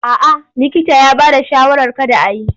A'a likita ya bada shawarar kada a yi.